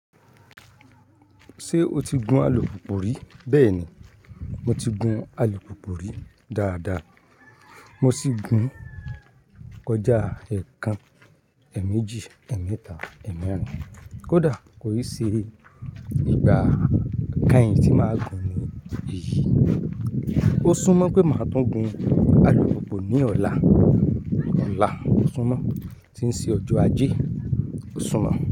Ṣé o ti gun alùpùpù rí? Bẹ́ẹ̀ni, mo ti gun alùpùpù rí dáadáa. Mo sì gun kọjá ẹẹkan, ẹ̀mejì, ẹ̀mẹ́ta, ẹ́mẹ́rìn-ín. Kódà kò ì ṣe nígbà keyin tí màá gun ní eyi. Ó súnmọ́ pé màá tún gun alùpùpù ní ọ̀la. Ọ̀la, ó súnmọ́, tí ń ṣe ọjọ́ ajé, ó súnmọ́